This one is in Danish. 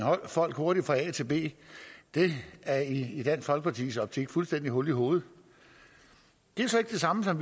folk hurtigt fra a til b er i dansk folkepartis optik fuldstændig hul i hovedet det er så ikke det samme som